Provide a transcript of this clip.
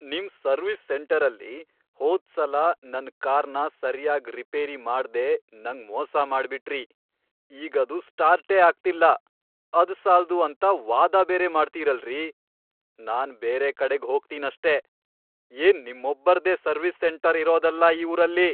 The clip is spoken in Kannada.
ನಿಮ್ ಸರ್ವಿಸ್ ಸೆಂಟರಲ್ಲಿ ಹೋದ್ಸಲ ನನ್ ಕಾರ್ನ ಸರ್ಯಾಗ್ ರಿಪೇರಿ ಮಾಡ್ದೇ ನಂಗ್ ಮೋಸ ಮಾಡ್ಬಿಟ್ರಿ. ಈಗ್ ಇದು ಸ್ಟಾರ್ಟೇ ಆಗ್ತಿಲ್ಲ, ಅದ್ಸಾಲ್ದು ಅಂತ ವಾದ ಬೇರೆ ಮಾಡ್ತೀರಲ್ರಿ! ನಾನ್ ಬೇರೆ ಕಡೆಗ್ ಹೋಗ್ತೀನಷ್ಟೇ, ಏನ್ ನಿಮ್ಮೊಬ್ರದ್ದೇ ಸರ್ವಿಸ್ ಸೆಂಟರ್ ಇರೋದಲ್ಲ ಈ ಊರಲ್ಲಿ.